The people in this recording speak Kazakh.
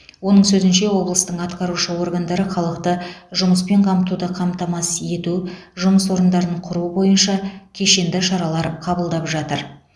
оның сөзінше облыстың атқарушы органдары халықты жұмыспен қамтуды қамтамасыз ету жұмыс орындарын құру бойынша кешенді шаралар қабылдап жатыр